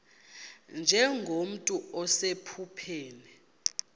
nje nomntu osephupheni